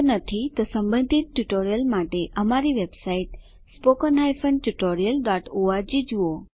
જો નથી તો સંબંધિત ટ્યુટોરીયલો માટે અમારી વેબસાઈટ httpspoken tutorialorg જુઓ